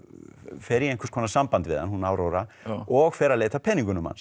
fer í einhvers konar samband við hann hún Áróra og fer að leita að peningunum hans